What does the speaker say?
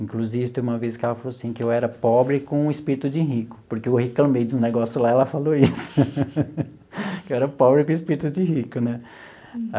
Inclusive, teve uma vez que ela falou assim, que eu era pobre com o espírito de rico, porque eu reclamei de um negócio lá, e ela falou isso, que eu era pobre com o espírito de rico né.